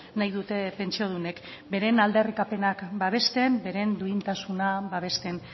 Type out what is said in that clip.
nahi dute pentsiodunek beren aldarrikapenak babesten beren duintasuna babesten